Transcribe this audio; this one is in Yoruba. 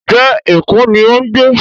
njé ẹko ní o ń gbé?